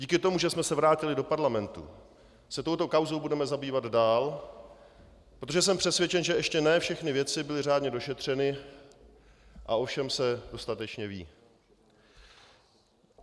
Díky tomu, že jsme se vrátili do parlamentu, se touto kauzou budeme zabývat dál, protože jsem přesvědčen, že ještě ne všechny věci byly řádně došetřeny a o všem se dostatečně ví.